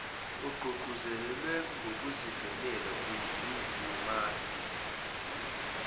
ogqugquzelwe ngokuvelele umzimasi